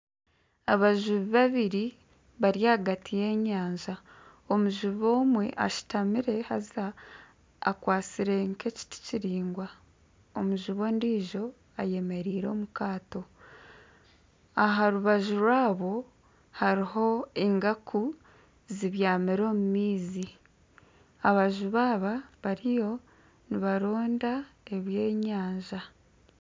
Abajubi babiri bari ahagati y'enyanja omujubi omwe ashutamire haza akwatsire nkekiti kiraingwa omujubi ondiijo ayemereire omu kaato aharubaju rwaabo hariho engaku zibyamire omu maizi abajubi aba bariyo nibaronda ebyenyanja